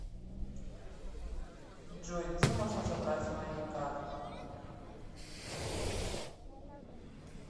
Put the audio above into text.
джой где можно забрать мои карту